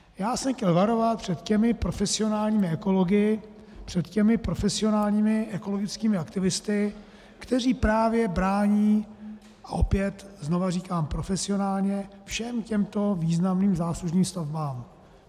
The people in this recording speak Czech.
Já jsem chtěl varovat před těmi profesionálními ekology, před těmi profesionálními ekologickými aktivisty, kteří právě brání, a opět znova říkám profesionálně, všem těmto významným záslužným stavbám.